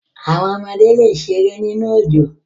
Àwọn ọmọdé le sẹ̀rẹ̀ nínu ọjọ́.